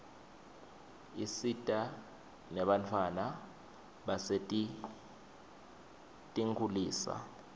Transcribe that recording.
isita nebantfwana basetinkitulisa